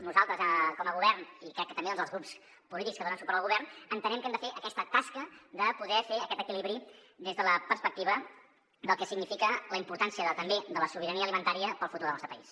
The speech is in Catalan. nosaltres com a govern i crec que també els grups polítics que donen suport al govern entenem que hem de fer aquesta tasca de poder fer aquest equilibri des de la perspectiva del que significa la importància també de la sobirania alimentària per al futur del nostre país